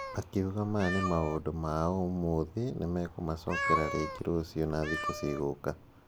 Akiuga maya nĩ maũndũ mao ũmũthĩ nĩ mekũmacokera rĩngĩ rũciu na thikũ cigũka.